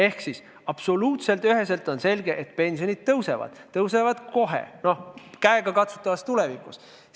Teisisõnu, absoluutselt üheselt on selge, et pensionid suurenevad, suurenevad kohe, käegakatsutavas tulevikus.